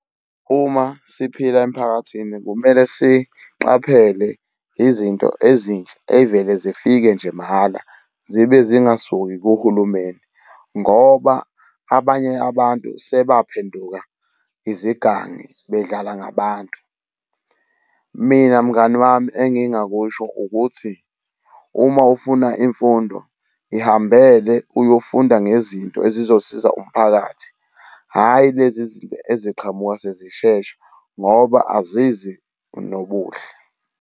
Uma siphila emiphakathini kumele siqaphele izinto ezinhle ey'vele zifike nje mahhala zibe zingakasuki kuhulumeni ngoba abanye abantu sebaphenduka izigangi bedlala ngabantu. Mina mngani wami engingakusho ukuthi uma ufuna imfundo ihambele, uyofunda ngezinto ezizosiza umphakathi. Hhayi lezi zinto eziqhamuka sezishesha ngoba azizi nobuhle.